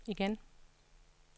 igen